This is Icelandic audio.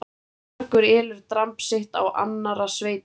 Margur elur dramb sitt á annarra sveita.